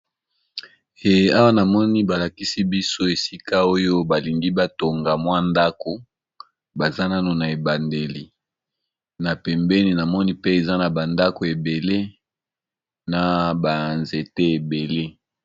Awa na moni balakisi biso esika oyo balingi batonga mwa ndako, baza nano na ebandeli na pembeni na moni pe eza na bandako ebele na banzete ebele.